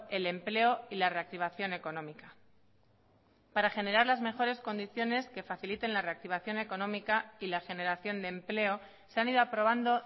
el empleo y la reactivación económica para generar las mejores condiciones que faciliten la reactivación económica y la generación de empleo se han ido aprobando